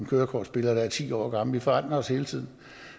kørekortbilleder der er ti år gamle vi forandrer os hele tiden